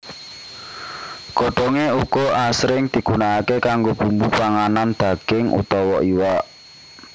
Godhongé uga asring digunakaké kanggo bumbu panganan daging utawa iwak